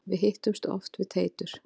Við hittumst oft við Teitur.